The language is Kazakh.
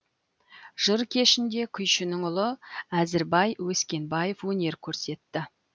жыр кешінде күйшінің ұлы әзірбай өскінбаев өнер көрсетті